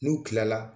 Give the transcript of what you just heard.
N'u kilala